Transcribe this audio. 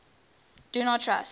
do not trust